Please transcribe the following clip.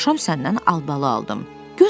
Dünən axşam səndən albalı aldım.